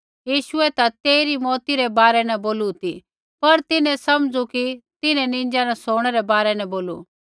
यीशुऐ ता तेइरी मौउती रै बारै न बोलू ती पर तिन्हैं समझू कि तिन्हैं निंजा न सोणै रै बारै न बोलू